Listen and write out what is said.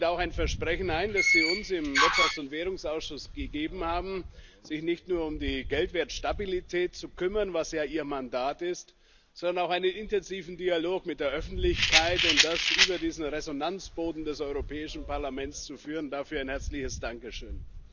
Sie lösen damit auch ein Versprechen ein, das Sie uns im Ausschuss für Wirtschaft und Währung gegeben haben, sich nicht nur um die Geldwertstabilität zu kümmern, was ja Ihr Mandat ist, sondern auch einen intensiven Dialog mit der Öffentlichkeit zu führen, und das über diesen Resonanzboden des Europäischen Parlaments. Dafür ein herzliches Dankeschön.